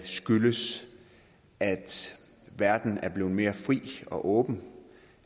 skyldes at verden er blevet mere fri og åben